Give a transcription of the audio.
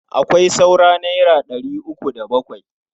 Akwai saura naira ɗari uku da bakwai.